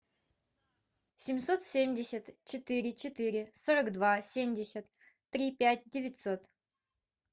семьсот семьдесят четыре четыре сорок два семьдесят три пять девятьсот